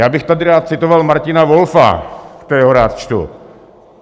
Já bych tady rád citoval Martina Wolfa, kterého rád čtu.